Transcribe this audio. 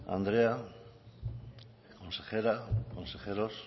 andrea consejera consejeros